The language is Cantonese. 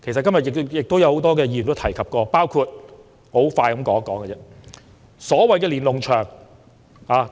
今天有很多議員提及，包括所謂的"連儂牆"。